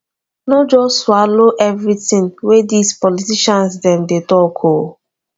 no just dey swallow everytin wey dis politician dem dey talk o